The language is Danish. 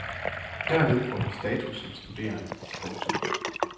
Derved får de status som studerende. punktum